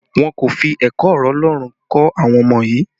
Wọn kò fi ẹ̀kọ́ ọ̀rọ̀ Ọlọ́run kọ́ àwọn ọmọ yii